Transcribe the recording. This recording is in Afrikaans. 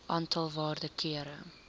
aantal waarde kere